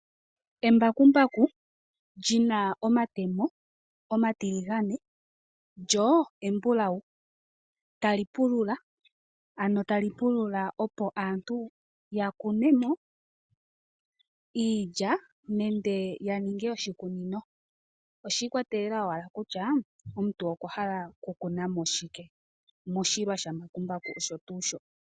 Embakumbaku lina omatemo omatiligane lyo embulawu tali pulula opo aantu ya kunemo iilya nenge ya ninge oshikunino. Oshikwatelela owala kutya omuntu okwahala oku kunamo shike moshilwa sha mbakumbaku osho tuu sho.